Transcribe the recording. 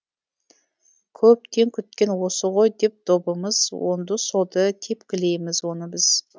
көптен күткен осы ғой деп добымыз оңды солды тепкілейміз оны біз